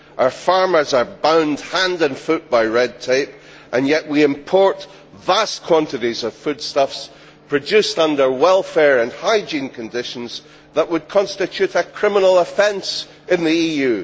Our farmers are bound hand and foot by red tape, and yet we import vast quantities of foodstuffs produced under welfare and hygiene conditions that would constitute a criminal offence in the EU.